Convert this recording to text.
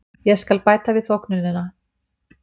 Ég skal bæta við þóknunina.